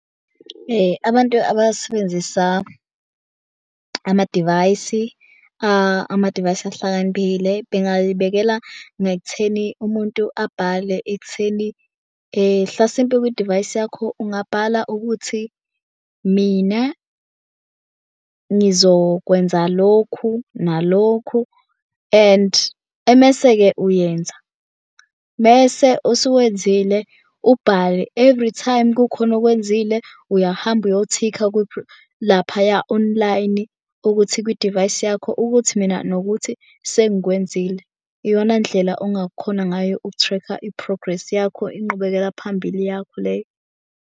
Abantu abasebenzisa amadivayisi ama-device ahlakaniphile bengayibekela ekutheni umuntu abhale ekutheni hlasimpe kwidivayisi yakho ungabhala ukuthi mina ngizokwenza lokhu nalokhu and emese-ke uyenza. Mese usuwenzile ubhale everytime kukhona okwenzile uyahamba uyothikha laphaya online ukuthi kwidivayisi yakho ukuthi mina nokuthi sengikwenzile. Iyona ndlela ongakhona ngayo uku-track-a i-progress yakho inqubekela phambili yakho leyo.